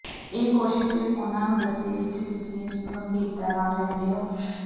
ਇਹ ਕੋਸ਼ਿਸ਼ ਸਿਰਫ ਉਨ੍ਹਾਂ ਨੂੰ ਦੱਸੇਗੀ ਕਿ ਤੁਸੀਂ ਇਸ ਨੂੰ ਗੰਭੀਰਤਾ ਨਾਲ ਲੈਂਦੇ ਹੋ